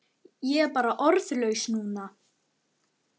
Ég er bara orðlaus núna.